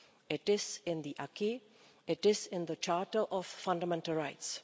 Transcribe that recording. It is in the acquis. It is in the Charter of Fundamental Rights.